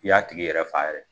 I y'a tigi yɛrɛ faa yɛrɛ